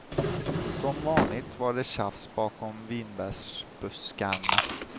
Som vanligt var det tjafs bakom vinbärsbuskarna.